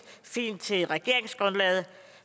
fint til regeringsgrundlaget